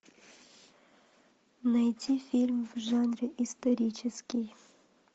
найти фильм в жанре исторический